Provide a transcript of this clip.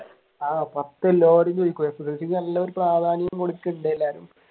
ആഹ് പത്തു എല്ലാരും ചോദിക്കും SSLC ക്ക് നല്ലൊരു പ്രാധാന്യം കൊടുക്കുന്നുണ്ട് എല്ലാവരും